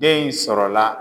Den in sɔrɔla.